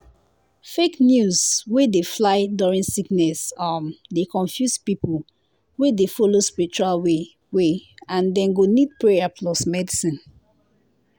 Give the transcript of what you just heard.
fake news wey dey fly during sickness um dey confuse people wey dey follow spiritual way way and dem go need prayer plus medicine.